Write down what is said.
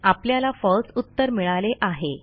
आपल्याला फळसे उत्तर मिळाले आहे